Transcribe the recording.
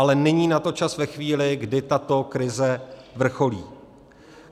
Ale není na to čas ve chvíli, kdy tato krize vrcholí.